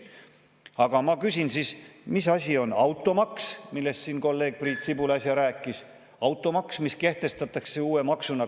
Aga ma küsin siis, mis asi on automaks, millest siin kolleeg Priit Sibul äsja rääkis, automaks, mis kehtestatakse uue maksuna.